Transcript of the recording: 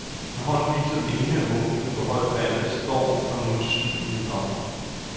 Med hånden viser den ene af munkene, hvor højt vandet står, når monsunen kommer.